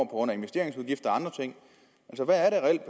grund af investeringsudgifter